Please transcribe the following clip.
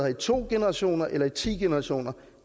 i to generationer eller i ti generationer